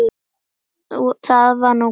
Það var nú gott, sagði